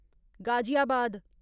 Ghaziabad